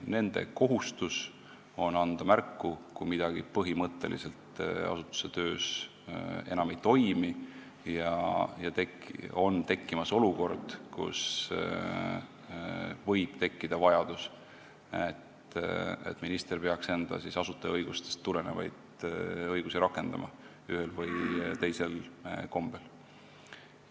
Nende kohustus on anda märku, kui asutuse töös midagi põhimõtteliselt enam ei toimi ja on tekkimas olukord, kus võib tekkida vajadus, et minister peaks enda asutajaõigustest tulenevaid õigusi ühel või teisel kombel rakendama.